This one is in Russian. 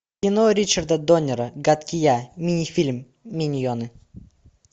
кино ричарда доннера гадкий я мини фильм миньоны